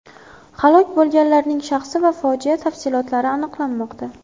Halok bo‘lganlarning shaxsi va fojia tafsilotlari aniqlanmoqda.